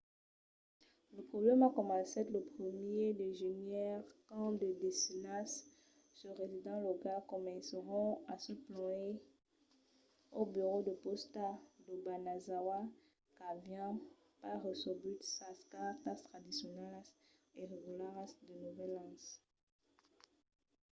lo problèma comencèt lo 1èr de genièr quand de desenas de residents locals comencèron a se plànher al burèu de pòsta d'obanazawa qu'avián pas recebut sas cartas tradicionalas e regularas de novèl an